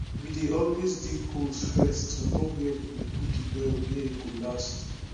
we dey always dig holes first to know where we go put de well where e go last